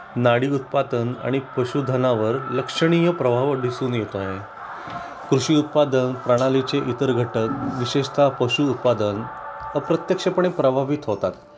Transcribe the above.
नाडी उत्पादन आणि पशुधनावर लक्षणीय प्रभाव दिसून येत आहे कृषी उत्पादन प्रणालीचे इतर घटक विशेषतः पशु उत्पादन अप्रत्यक्षपणे प्रभावित होतात